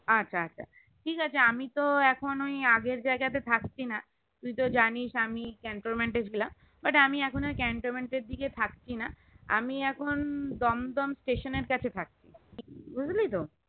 আচ্ছা আচ্ছা ঠিক আমি তো এখন ওই আগের জায়গাতে থাকছিনা তুই তো জানিস আমি আমি cantonment ছিলাম but আমি এখন ওই cantonment এর দিকে থাকছিনা আমি এখন দমদম station এর কাছে থাকি বুঝতে পেরেছিস